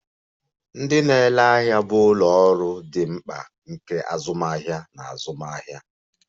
Ndị na-ere ahịa bụ ụlọ ọrụ dị mkpa nke azụmahịa na azụmaahịa.